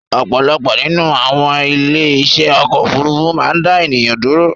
Ọ̀pọ̀lọpọ̀ nínú àwon ilé iṣé ọ̀kọ̀ ofúrufú má n dá ènìyàn dúró